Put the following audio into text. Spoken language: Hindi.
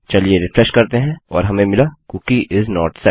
चलिए रिफ्रेश करते हैं और हमें मिला कूकी इस नोट सेट